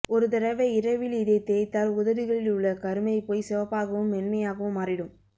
ஒரு தடவை இரவில் இதை தேய்த்தால் உதடுகளில் உள்ள கருமை போய் சிவப்பாகவும் மென்மையாவும் மாறிடும்